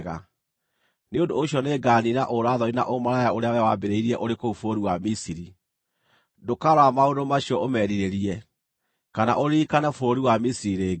Nĩ ũndũ ũcio nĩnganiina ũũra-thoni na ũmaraya ũrĩa wee waambĩrĩirie ũrĩ kũu bũrũri wa Misiri. Ndũkarora maũndũ macio ũmerirĩrie, kana ũririkane bũrũri wa Misiri rĩngĩ.